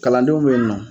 Kalandenw bɛ yen nɔ